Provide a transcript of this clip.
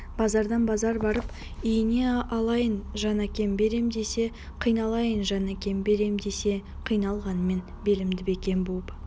базардан базар барып ине алайын жан әкем берем десе қиналайын жан әкем берем десе қиналғанмен белімді бекем буып